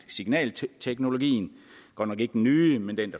signalteknologien godt nok ikke den nye men den